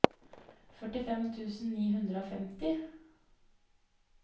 førtifem tusen ni hundre og femti